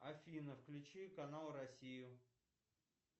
афина включи канал россию